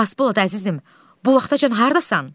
Xasbolat, əzizim, bu vaxtacan hardasan?